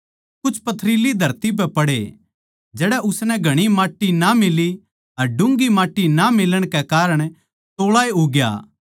कुछ पथरीली धरती पै पड़े जड़ै उसनै घणी माट्टी ना मिली अर डुँगी माट्टी ना मिलण कै कारण तोळाए उग्या